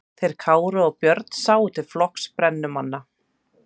Þeir Kári og Björn sáu til flokks brennumanna.